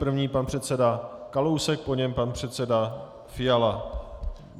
První pan předseda Kalousek, po něm pan předseda Fiala.